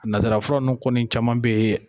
Nansara fura ninnu kɔni caman bɛ yen